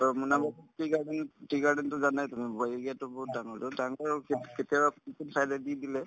মানে tea garden ত tea garden তো জানাই তুমি ব area তো বহুত ডাঙৰ to তাৰপৰায়ো কেত কেতিয়াবা দি দিলে